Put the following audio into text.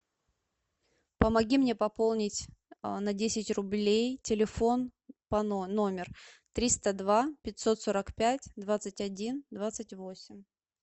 помоги мне пополнить на десять рублей телефон номер триста два пятьсот сорок пять двадцать один двадцать восемь